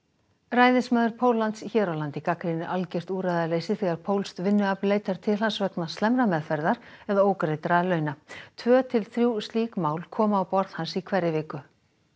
ræðismaður Póllands hér á landi gagnrýnir algjört úrræðaleysi þegar pólskt vinnuafl leitar til hans vegna slæmrar meðferðar eða ógreiddra launa tvö til þrjú slík mál koma á borð hans í hverri viku